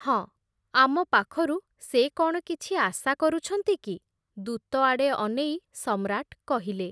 ହଁ, ଆମପାଖରୁ ସେ କ’ଣ କିଛି ଆଶା କରୁଛନ୍ତି କି, ଦୂତଆଡ଼େ ଅନେଇ ସମ୍ରାଟ୍ କହିଲେ ।